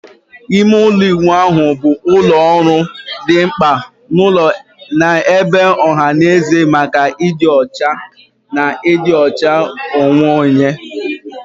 Ime ụlọ ịwụ ahụ bụ ụlọ ọrụ dị mkpa n'ụlọ na ebe ọha na eze maka ịdị ọcha na ịdị ọcha onwe onye.